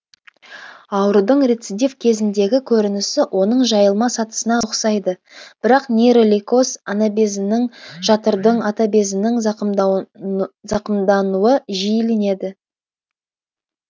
аурудың рецидив кезіндегі көрінісі оның жайылма сатысына үқсайды бірак нейролейкоз анабезінің жатырдың атабезінің зақымдануы жиіленеді